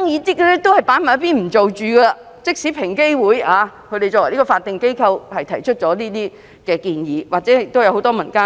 即使這些建議是平機會作為法定機構提出，或是由很多民間